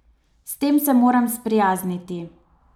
S tem se moram sprijazniti.